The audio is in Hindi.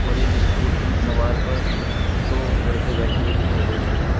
और एक इस्कूटी सवार पर दो लड़के बैठे हुए दिखाई दे रहे हैं।